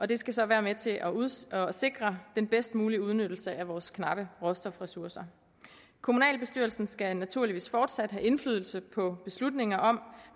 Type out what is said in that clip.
det skal så være med til at sikre den bedst mulige udnyttelse af vores knappe råstofressourcer kommunalbestyrelsen skal naturligvis fortsat have indflydelse på beslutninger om